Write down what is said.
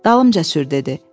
Dalımca sür dedi.